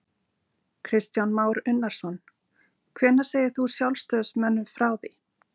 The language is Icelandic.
Kristján Már Unnarsson: Hvenær segir þú sjálfstæðismönnum frá því?